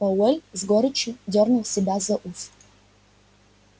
пауэлл с горечью дёрнул себя за ус